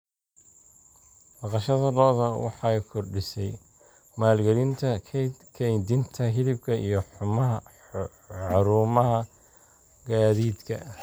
Dhaqashada lo'da lo'da waxay kordhisay maalgelinta kaydinta hilibka iyo xarumaha gaadiidka.